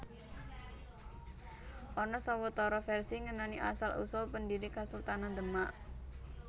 Ana sawetara vèrsi ngenani asal usul pendhiri Kasultanan Demak